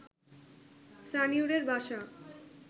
সানিউরের বাসা